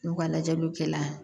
N'u ka lajɛliw kɛ la